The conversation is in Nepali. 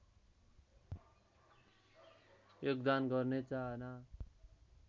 योगदान गर्ने चाहना